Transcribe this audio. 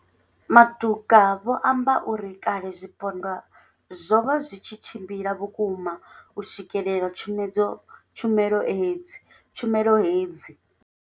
Matuka vho amba uri kale zwipondwa zwo vha zwi tshi tshimbila vhukuma u swikelela tshumelo hedzi.